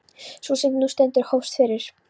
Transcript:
Sú sem nú stendur hófst fyrir